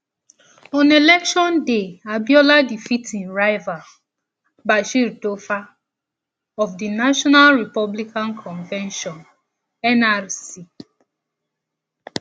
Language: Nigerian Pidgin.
on election day abiola defeat im rival bashir tofa um of di national republican convention nrc